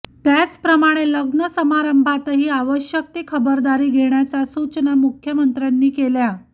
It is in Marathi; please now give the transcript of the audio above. त्याचप्रमाणे लग्न समारंभातही आवश्यक ती खबरदारी घेण्याच्या सूचना मुख्यमंत्र्यांनी केल्या